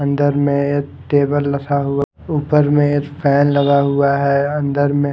अंदर में टेबल रखा हुआ ऊपर में फैन लगा हुआ है अंदर में --